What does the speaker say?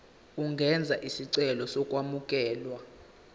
ungenza isicelo sokwamukelwa